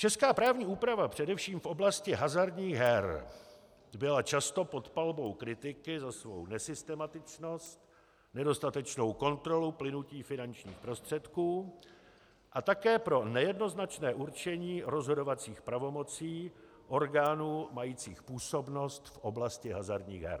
Česká právní úprava především v oblasti hazardních her byla často pod palbou kritiky za svou nesystematičnost, nedostatečnou kontrolu plynutí finančních prostředků a také pro nejednoznačné určení rozhodovacích pravomocí orgánů majících působnost v oblasti hazardních her.